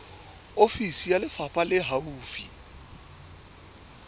ofisi ya lefapha le haufi